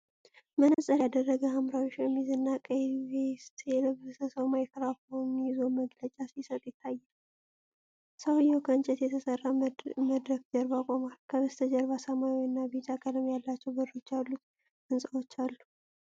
መነፅር ያደረገ፣ ሐምራዊ ሸሚዝ እና ቀይ ቬስት የለበሰ ሰው ማይክሮፎን ይዞ መግለጫ ሲሰጥ ይታያል። ሰውየው ከእንጨት በተሠራ መድረክ ጀርባ ቆሟል። ከበስተጀርባ ሰማያዊ እና ቢጫ ቀለም ያላቸው በሮች ያሉት ሕንፃዎች አሉ።